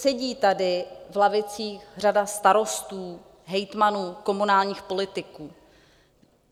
Sedí tady v lavicích řada starostů, hejtmanů, komunálních politiků.